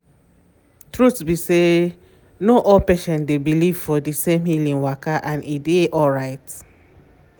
truth be say no all patients dey believe for di same healing waka and e dey alright.